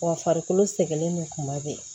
Wa farikolo sɛgɛn nin kuma bɛ yen